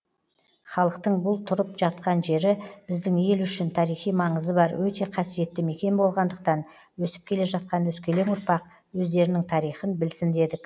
халықтың бұл тұрып жатқан жері біздің ел үшін тарихи маңызы бар өте қасиетті мекен болғандықтан өсіп келе жатқан өскелең ұрпақ өздерінің тарихын білсін дедік